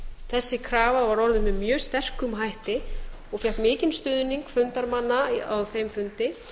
þessi krafa var orðin með mjög sterkum hætti og fékk mikinn stuðning fundarmanna á þessum fundi